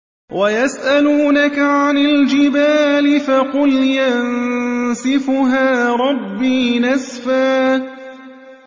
وَيَسْأَلُونَكَ عَنِ الْجِبَالِ فَقُلْ يَنسِفُهَا رَبِّي نَسْفًا